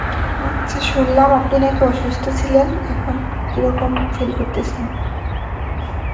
আচ্ছা শুনলাম আপনি নাকি অসুস্থ ছিলেন, এখন কীরকম feel করতেসেন?